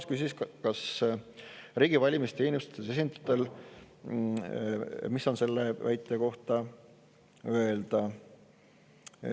Ta küsis, mis on riigi valimisteenistuse esindajatel selle kohta öelda.